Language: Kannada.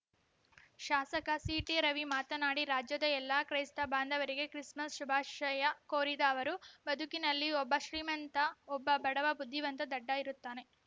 ಶಾಸಕ ಸಿಟಿ ರವಿ ಮಾತನಾಡಿ ರಾಜ್ಯದ ಎಲ್ಲ ಕ್ರೈಸ್ತ ಬಾಂಧವರಿಗೂ ಕ್ರಿಸ್‌ಮಸ್‌ ಶುಭಾಷಯ ಕೋರಿದ ಅವರು ಬದುಕಿನಲ್ಲಿ ಒಬ್ಬ ಶ್ರೀಮಂತ ಒಬ್ಬ ಬಡವ ಬುದ್ಧಿವಂತ ದಡ್ಡ ಇರುತ್ತಾನೆ